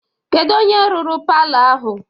kedu onye rụrụ palọ ahụ?